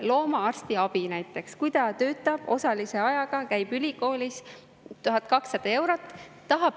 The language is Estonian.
Loomaarsti abi näiteks, kui ta töötab osalise ajaga, käib ülikoolis, palk on 1200 eurot.